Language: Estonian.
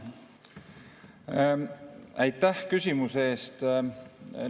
Aitäh küsimuse eest!